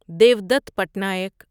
Devdutt Patnaik